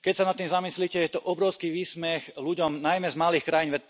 Keď sa nad tým zamyslíte, je to obrovský výsmech ľuďom najmä z malých krajín.